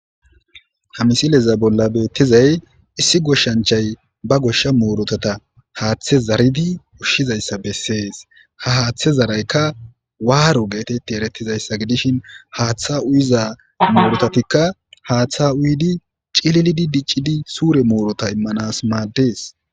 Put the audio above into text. Ha misileza bolla betizay issi goshshanchay ba goshsha murutata haathe zaaridi ushshizayssa besses ha haatha zaraykka warro getteti eretizayssa giddishin haatha uyiza murutati haatha uyidi cillii diccidi sure muruta imanas maddes.